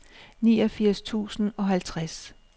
niogfirs tusind og halvtreds